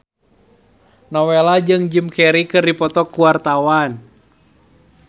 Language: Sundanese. Nowela jeung Jim Carey keur dipoto ku wartawan